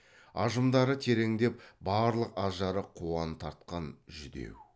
ажымдары тереңдеп барлық ажары қуан тартқан жүдеу